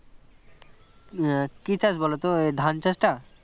আহ কী চাস বল তো ধান চাষটা